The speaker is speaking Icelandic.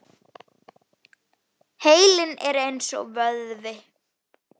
Heilinn er eins og vöðvi.